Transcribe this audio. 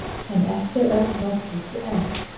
En ekki er öll nótt úti enn.